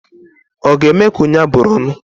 Ọ ga-eme ka onye abụrụ ọnụ?